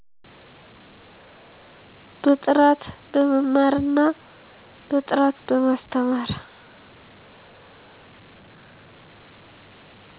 በጥራት በመማር እና በጥራት በማስተማር